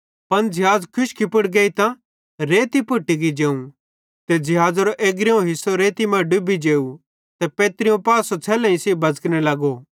पन ज़िहाज़ खुशकी पुड़ गेइतां रेती पुड़ टिकी जेवं ते ज़िहाज़ेरो एग्रीयों पासो रेती मां डुबी जेवं ते पैत्रीयों पासो छ़ेल्लेईं सेइं बज़कने लगो